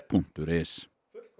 punktur is